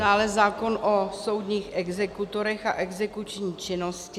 Dále zákon o soudních exekutorech a exekuční činnosti.